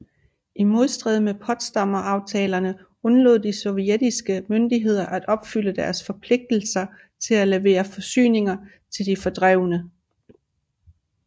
I modstrid med Potsdamaftalerne undlod de sovjetiske myndigheder at opfylde deres forpligtelse til at levere forsyninger til de fordrevne